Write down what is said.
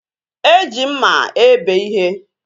E ji mma ebe ihe